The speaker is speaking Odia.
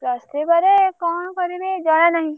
Plus three ପରେ କଣ କରିବି ଏଇ ଜଣା ନାହିଁ।